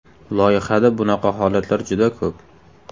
Loyihada bunaqa holatlar juda ko‘p.